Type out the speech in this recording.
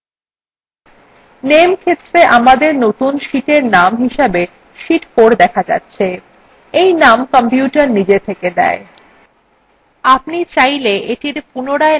name ক্ষেত্রে আমাদের নতুন sheetin name হিসেবে sheet 4 দেখা যাচ্ছে in name কম্পিউটার নিজে থেকে দেয় আপনি চাইলে এটির পুনরায় নামকরণ করতে পারেন